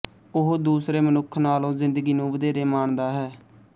ਉਹ ਦੂਸਰੇ ਮਨੁੱਖ ਨਾਲੋਂ ਜ਼ਿੰਦਗੀ ਨੂੰ ਵਧੇਰੇ ਮਾਣਦਾ ਹੈ